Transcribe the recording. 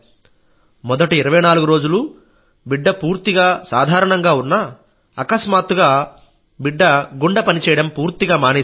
మొదటి 24 రోజులు బిడ్డ పూర్తిగా సాధారణంగా ఉన్నా అకస్మాత్తుగా బిడ్డ గుండె పనిచేయడం పూర్తిగామానేసింది